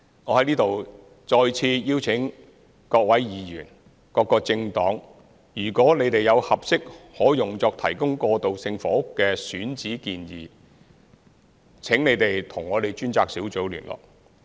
我在此再次邀請各位議員、各個政黨，如你們有合適可用作提供過渡性房屋的選址建議，請你們與我們的專責小組聯絡。